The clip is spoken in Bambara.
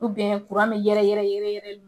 min yɛrɛ yɛrɛli